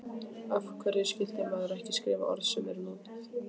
Af hverju skyldi maður ekki skrifa orð sem eru notuð?